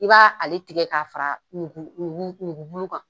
I b'a ale tigɛ ka fara kan.